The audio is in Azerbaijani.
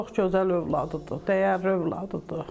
Çox gözəl övladı idi, dəyərli övladı idi.